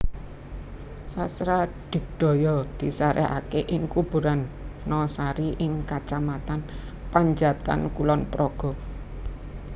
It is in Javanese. Sasradigdaya disarekake ing Kuburan Nosari ing Kacamatan Panjatan Kulon Progo